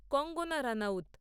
Kangana Ranaut